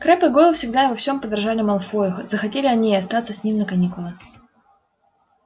крэбб и гойл всегда и во всем подражали малфою захотели они и остаться с ним на каникулы